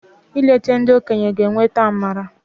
I leta ndị okenye g'eweta amara.